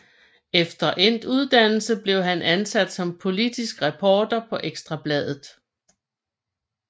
Efter endt uddannelse blev han ansat som politisk reporter på Ekstra Bladet